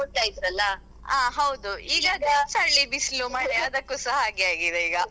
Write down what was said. ಈಗ ಚಳಿ ಬಿಸಿಲು ಮಳೆ ಅದಕ್ಕೂ ಸ ಹಾಗೆ ಆಗಿದೆ ಈಗ.